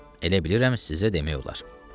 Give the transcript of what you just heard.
Elə bilirəm sizə demək olar.